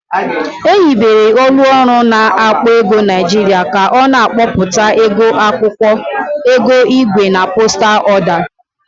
Ehibere ọlụ ọrụ na-akpọ ego Niajịrịa ka ọ na-akpọpụta ego akwọkwọ, ego igwe na postal ọda.